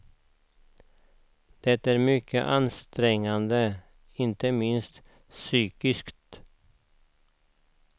Det är mycket ansträngande, inte minst psykiskt.